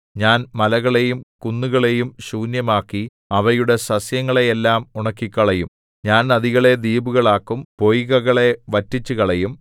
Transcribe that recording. ഞാൻ മലകളെയും കുന്നുകളേയും ശൂന്യമാക്കി അവയുടെ സസ്യങ്ങളെ എല്ലാം ഉണക്കിക്കളയും ഞാൻ നദികളെ ദ്വീപുകളാക്കും പൊയ്കകളെ വറ്റിച്ചുകളയും